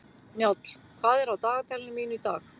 Njáll, hvað er á dagatalinu mínu í dag?